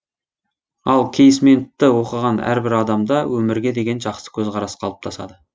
ал кейсментті оқыған әрбір адамда өмірге деген жақсы көзқарас қалыптасады